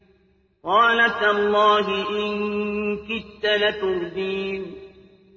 قَالَ تَاللَّهِ إِن كِدتَّ لَتُرْدِينِ